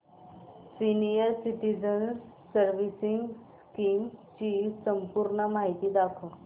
senior citizens savings scheme ची संपूर्ण माहिती दाखव